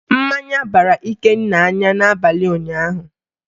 Mmanya bara Ikenna anya n'abalị ụnyaahụ